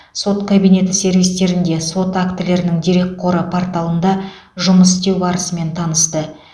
сот кабинеті сервистерінде сот актілерінің дерекқоры порталында жұмыс істеу барысымен танысты